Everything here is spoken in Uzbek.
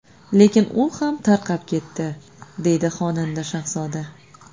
Lekin u ham tarqab ketdi”, deydi xonanda Shahzoda.